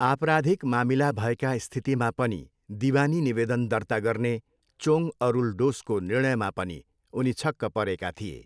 आपराधिक मामिला भएका स्थितिमा पनि दिवानी निवेदन दर्ता गर्ने चोङ अरुलडोसको निर्णयमा पनि उनी छक्क परेका थिए।